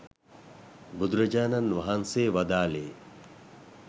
බුදුරජාණන් වහන්සේ වදාළේ